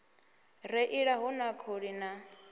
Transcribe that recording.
reila hu na khuli na